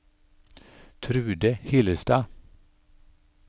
Trude Hillestad